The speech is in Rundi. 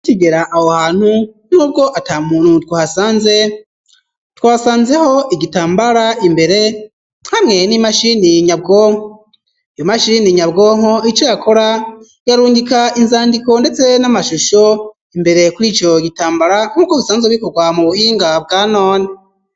Kigera awo hantu nk'ubwo ata muntu twahasanze twasanzeho igitambara imbere hamwe n'imashini nyabwoho iyo mashini nyabwonko ico yakora yarungika inzandiko, ndetse n'amashusho imbere kuri ico gitambara nk'uko bisanze bikorwa mu buinga bwanoni.